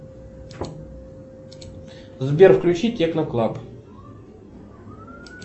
сбер включи техно клаб